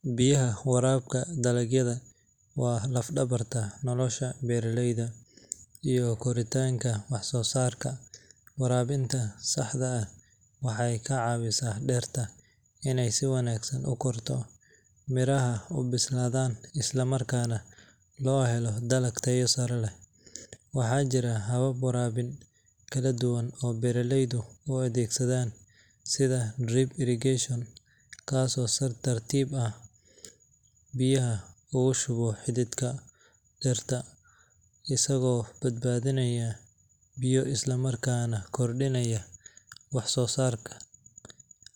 Biyaha waraabka dalagyadu waa laf-dhabarta nolosha beeraleyda iyo koritaanka wax soo saarka. Waraabinta saxda ah waxay ka caawisaa dhirta inay si wanaagsan u korto, miraha u bislaadaan, isla markaana loo helo dalag tayo sare leh. Waxaa jira habab waraabin kala duwan oo beeraleydu u adeegsadaan sida drip irrigation, kaas oo si tartiib tartiib ah biyaha ugu shuba xididka dhirta, isagoo badbaadinaya biyo isla markaana kordhinaya wax soo saar.